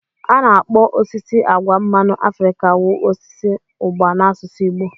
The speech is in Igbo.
A na-akpọ osisi agwa mmanụ Afrika wu osisi ugba n'asụsụ Igbo.